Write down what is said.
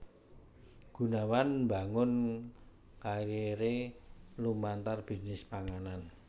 Gunawan mbangun kariré lumantar bisnis panganan